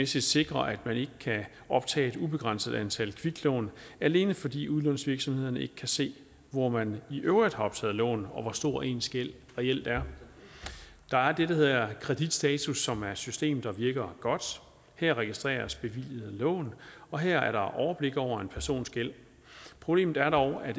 sikrer at man ikke kan optage et ubegrænset antal kviklån alene fordi udlånsvirksomhederne ikke kan se hvor man i øvrigt har optaget lån og hvor stor ens gæld reelt er der er det der hedder kreditstatus som er et system der virker godt her registreres bevilgede lån og her er der overblik over en persons gæld problemet er dog at